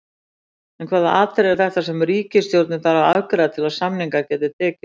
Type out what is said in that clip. En hvaða atriði eru þetta sem ríkisstjórnin þarf að afgreiða til að samningar geti tekist?